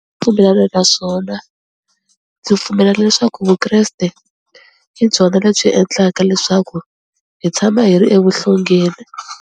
Pfumelana na swona ndzi pfumela leswaku Vukreste hi byona lebyi endlaka leswaku hi tshama hi ri evuhlongeni.